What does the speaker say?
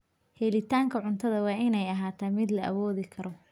Helitaanka cuntada waa in ay ahaataa mid la awoodi karo.